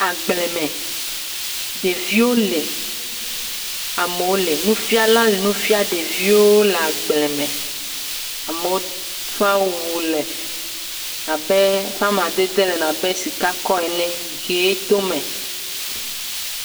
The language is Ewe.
Agbleme. Ɖeviwo le. Nufiala le nufia ɖewo le agbleme. Amewo ƒe awu le abe eƒe amadede le babe sikakɔ ene, ʋee to eme.